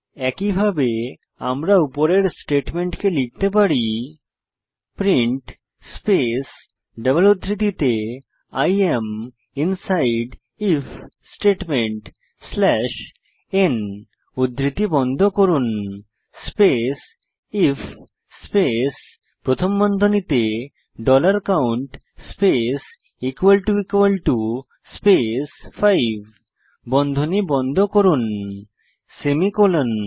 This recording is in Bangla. একইভাবে আমরা উপরের স্টেটমেন্টকে লিখতে পারি প্রিন্ট স্পেস ডবল উদ্ধৃতিতে I am inside if statement slash n উদ্ধৃতি বন্ধ করুন স্পেস আইএফ স্পেস প্রথম বন্ধনীতে ডলার কাউন্ট স্পেস স্পেস 5 বন্ধনী বন্ধ করুন সেমিকোলন